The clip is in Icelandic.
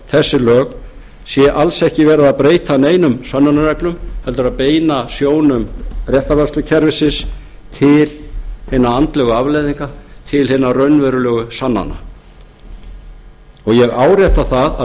þessi lög sé alls ekki verið að breyta neinum sönnunarreglum heldur að beina sjónum réttarvörslukerfisins til hinna andlegu afleiðinga til hinna raunverulegu sannana ég árétta það að